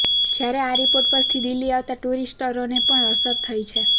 જ્યારે આ રિપોર્ટ પરથી દિલ્હી આવતા ટૂરિસ્ટોને પણ અસર થઇ છે